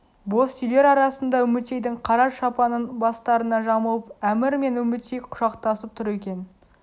боз үйлер арасында үмітейдің қара шапанын бастарына жамылып әмір мен үмітей құшақтасып тұр екен